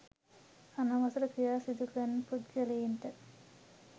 අනවසර ක්‍රියා සිදුකරන පුද්ගලයන්ට